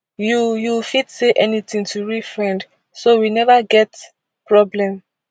you you fit say anytin to real friend so we neva get problem